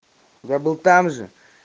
я был там же